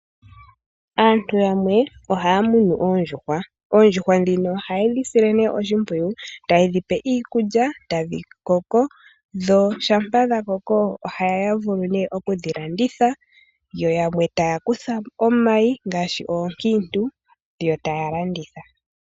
Aantu yamwe ohaa munu oondjuhwa. Oondjuhwa ndhino oha ye dhi sile ne oshimpwiyu, taye dhi pe iikulya, tadhi koko, dho shampa dha koko oha ya vulu ne oku dhi landitha, yo yamwe taa kutha omayi, ngaashi oonkintu, yo ta ya landutha.